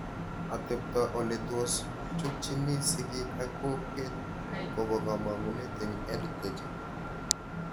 Atepto, ole tos chutchini sigik ak kokwet kopo kamanut eng' EdTech